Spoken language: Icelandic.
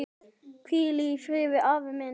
Hvíl í friði afi minn.